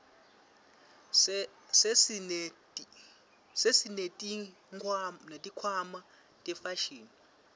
sesineti khwama tefashini